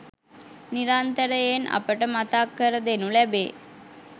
නිරන්තරයෙන් අපට මතක් කර දෙනු ලැබේ.